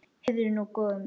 Heyrðu nú, góði!